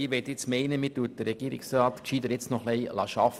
Ich meine, man sollte den Regierungsrat besser noch etwas arbeiten lassen.